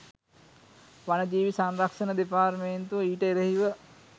වනජීවී සංරක්ෂණ දෙපාර්තමේන්තුව ඊට එරෙහිව